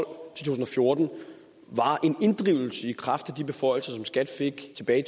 to tusind og fjorten var en inddrivelse i kraft af de beføjelser som skat fik tilbage i